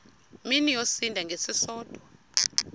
mini yosinda ngesisodwa